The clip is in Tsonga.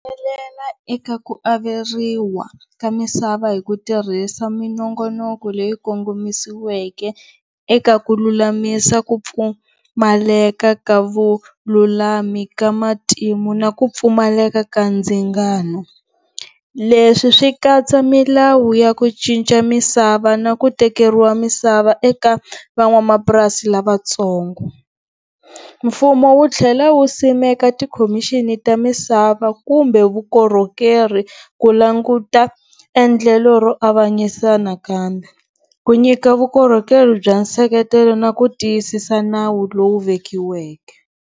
eka ku averiwa ka misava hi ku tirhisa minongonoko leyi kongomisiweke eka ku lulamisa ku pfumaleka ka vululami ka matimu na ku pfumaleka ka ndzingano, leswi swi katsa milawu ya ku cinca misava na ku tekeriwa misava eka van'wamapurasi lavatsongo. Mfumo wu tlhela wu simeka tikhomixini ta misava kumbe vukorhokeri ku languta endlelo ro avanyisa nakambe, ku nyika vukorhokeri bya nseketelo na ku tiyisisa nawu lowu vekiweke.